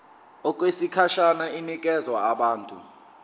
okwesikhashana inikezwa abantu